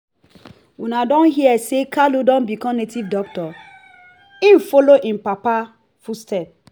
una don hear say kalu don become native doctor? he follow im papa footstep.